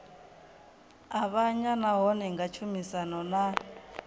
avhanya nahone nga tshumisano na